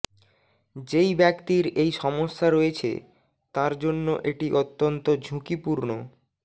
যেই ব্যক্তির এই সমস্যা রয়েছে তাঁর জন্য এটি অত্যন্ত ঝুঁকিপূর্ণ